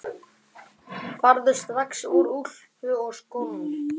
Farðu strax í úlpuna og skóna.